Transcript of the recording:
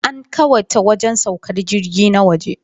An kawata wajen saukar jirgi na waje.